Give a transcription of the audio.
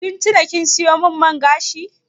Kin tuna kin sayo min man gashi?